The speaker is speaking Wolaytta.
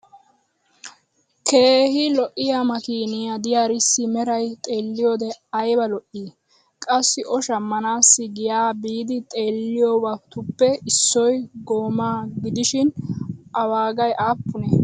keehi lo'iya makkiiniya diyaarissi meray xeeliyoode aybba lo'ii? Qassi O shammanaassi giyaa biidi xeeliyobatuppe issoy goomaa gidishshin a waagay aapunee?